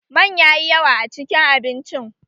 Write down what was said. Man yayi yawa a cikin abincin